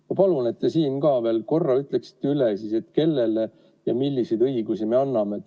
Ma palun, et te siin veel korra ütleksite, kellele ja milliseid õigusi me anname.